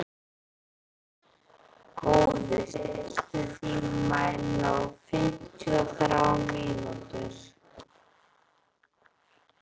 Góði, stilltu tímamælinn á fimmtíu og þrjár mínútur.